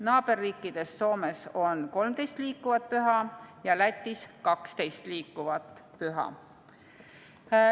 Naaberriikidest Soomes on 13 liikuvat püha ja Lätis 12 liikuvat püha.